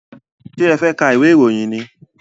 Ṣé ẹ fẹ́ ka ìwé ìròyìn ni?